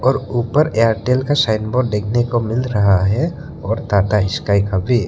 और ऊपर एयरटेल का साइन बोर्ड देखने को मिल रहा है और टाटा स्काई का भी--